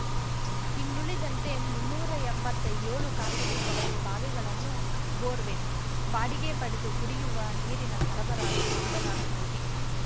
ಇನ್ನುಳಿದಂತೆ ಮುನ್ನೂರಾ ಎಂಬತ್ತೇಳು ಖಾಸಗಿ ಕೊಳವೆ ಬಾವಿಗಳನ್ನು ಬೋರ್‌ವೆಲ್‌ ಬಾಡಿಗೆ ಪಡೆದು ಕುಡಿಯುವ ನೀರಿನ ಸರಬರಾಜು ಮಾಡಲಾಗುತ್ತಿದೆ